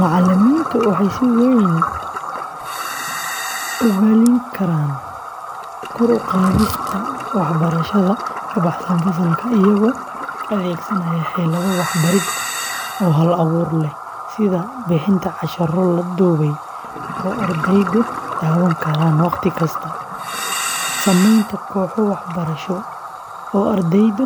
Macalimiintu waxay si weyn ugaalin karaan kor u qaadista waxbarashada ka baxsan fasalka iyagoo adeegsanaaya xeelado waxbarid oo hal-abuur leh sida bixinta casharro la duubay oo ardaydu daawan karaan wakhti kasta, sameynta kooxo waxbarasho oo ardaydu